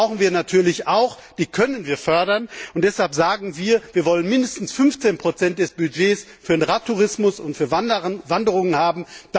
Die brauchen wir natürlich auch, die können wir fördern, und deshalb sagen wir Wir wollen mindestens 15 Prozent des Budgets für den Radtourismus und für Wanderungen haben.